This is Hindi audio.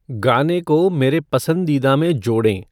गाने को मेरे पसंदीदा में जोड़ें